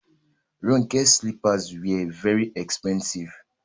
Ronke's slippers were very expensive